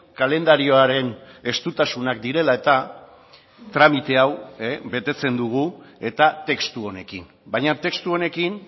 kalendarioaren estutasunak direla eta tramite hau betetzen dugu eta testu honekin baina testu honekin